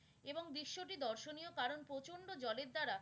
এবং বিশ্বটি দর্শনীয় কারণ প্রচন্ড জলের দ্বারা।